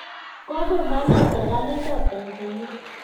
Kokomwaa nee serikalit ap Tanzania?